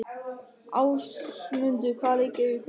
Ásmundur, hvaða leikir eru í kvöld?